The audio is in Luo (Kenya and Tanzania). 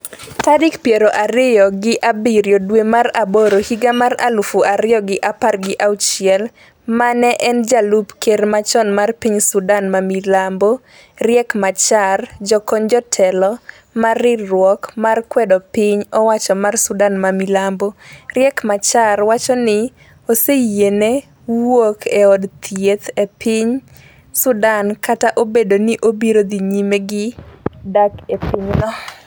tarik piero ariyo gi abiriyo dwe mar aboro higa mar aluf ariyo gi apar gi auchiel Mane en jalup ker machon mar piny Sudan ma milambo Riek Machar Jokony jotelo mar riwruok ma kwedo piny owacho mar Sudan ma milambo, Riek Machar, wacho ni oseyiene wuok e od thieth e piny Sudan kata obedo ni obiro dhi nyime gi dak e pinyno.